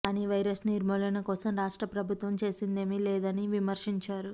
కానీ వైరస్ నిర్మూలన కోసం రాష్ట్ర ప్రభుత్వం చేసిందేమీ లేదని విమర్శించారు